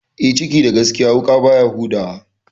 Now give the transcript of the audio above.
Eh, ciki da gaskiya wuƙa baya huda wa.